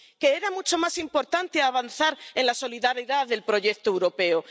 Que era mucho más importante avanzar en la solidaridad del proyecto europeo.